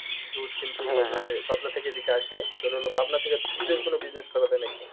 দুধ কিন্তু পাবনা থেকে এদিকে আসে তোর হলো পাবনা থেকে দুধের কোনো business করা যায় নাকি।